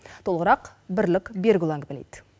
толығырақ бірлік берікұлы әңгімелейді